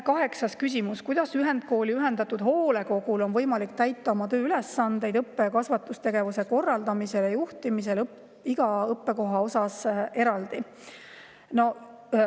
Kaheksas küsimus: "Kuidas ühendkooli ühendatud hoolekogul on võimalik täita oma tööülesandeid õppe- ja kasvatustegevuse korraldamisel ja juhtimisel iga õppekoha osas eraldi?